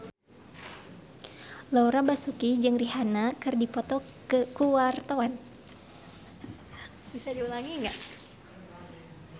Laura Basuki jeung Rihanna keur dipoto ku wartawan